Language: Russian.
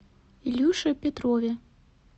илюше петрове